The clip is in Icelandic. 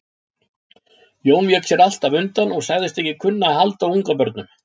Jón vék sér alltaf undan og sagðist ekki kunna að halda á ungabörnum.